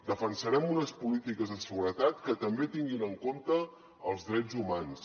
defensarem unes polítiques de seguretat que també tinguin en compte els drets humans